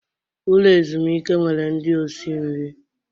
Ụlọ ezumike nwere ndị osi nri.